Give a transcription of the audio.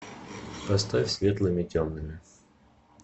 поставь светлыми темными